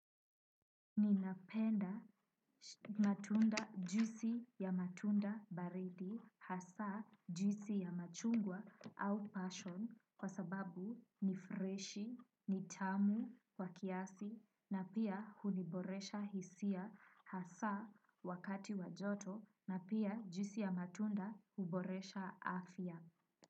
Ninapenda matunda juisi ya matunda baridi hasa juisi ya machungwa au passion kwa sababu ni freshi, ni tamu kwa kiasi na pia huniboresha hisia hasa wakati wa joto na pia juisi ya matunda huboresha afya.